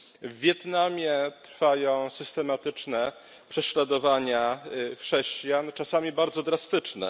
W Wietnamie trwają systematyczne prześladowania chrześcijan, czasami bardzo drastyczne.